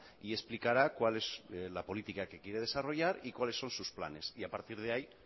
y explicará cuál es la política que quiere desarrollar y cuáles son sus planes y a partir de ahí